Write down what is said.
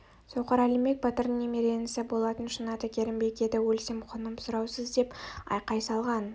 соқыр әлімбек батырдың немере інісі болатын шын аты керімбек еді өлсем құным сұраусыз деп айқай салған